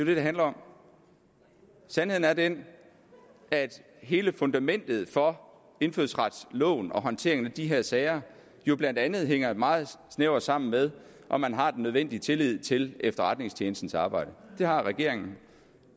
det handler om sandheden er den at hele fundamentet for indfødsretsloven og håndteringen af de her sager jo blandt andet hænger meget snævert sammen med om man har den nødvendige tillid til efterretningstjenestens arbejde det har regeringen